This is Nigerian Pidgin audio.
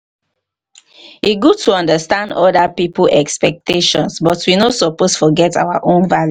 e good to understand oda pipo expectations but but we no suppose forget our own values.